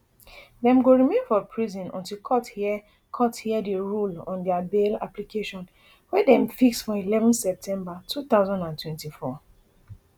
dem go remain for prison until court hear court hear and rule on dia bail application wey dem fix for eleven september two thousand and twenty-four